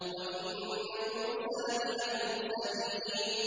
وَإِنَّ يُونُسَ لَمِنَ الْمُرْسَلِينَ